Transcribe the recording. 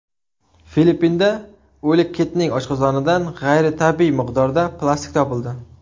Filippinda o‘lik kitning oshqozonidan g‘ayritabiiy miqdorda plastik topildi.